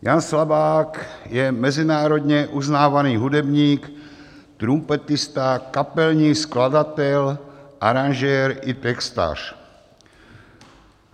Jan Slabák je mezinárodně uznávaný hudebník, trumpetista, kapelník, skladatel, aranžér i textař.